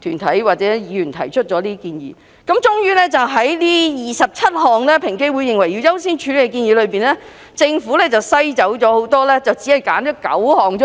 團體或議員提出，政府最終也是在該27項平機會認為應該優先處理的建議中作出篩選，只選出9項而已。